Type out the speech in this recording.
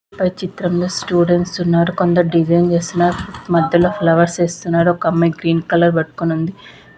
ఈ చిత్రం లో కొందరు స్టూడెంట్స్ వున్నారు మడలో దేస్గిన్స్ వేస్తునారు మదలూ ఫ్లవర్స్ వేస్తునారు ఒక అమ్మాయి గ్రీన్ కలర్ పట్టుకొని ఉంది.